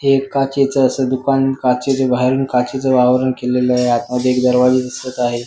हे एक काचेच अस दुकान काचेच बाहेरून काचेच वावरण केलेलय आतमध्ये एक दरवाजा दिसत आहे.